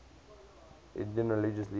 indian religious leaders